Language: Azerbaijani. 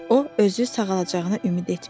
O özü sağalacağına ümid etmir.